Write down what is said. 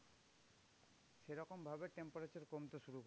সেরকম ভাবে temperature কমতে শুরু